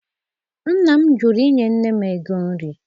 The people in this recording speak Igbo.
Nna m jụrụ inye nne m ego nri.